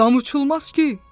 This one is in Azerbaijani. Dama uçulmaz ki!